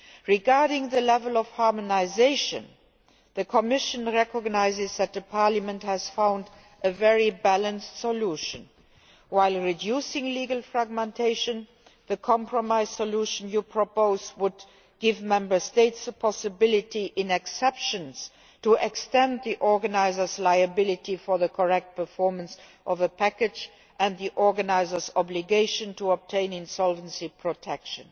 Regarding the level of harmonisation, the Commission recognises that Parliament has found a very balanced solution. While reducing legal fragmentation, the compromise solution you propose would give Member States the possibility in exceptional cases to extend the organiser's liability for the proper performance of a package and the organiser's obligations to obtain insolvency protection,